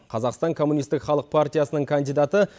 қазақстан коммунистік халық партиясының кандидаты